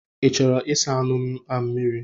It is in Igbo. Ị chọọla ịsa anụ a mmiri?